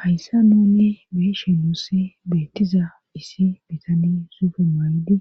Hayssan nuuni be7ishe nuussi beettiza issi bitanee suufiya mayidi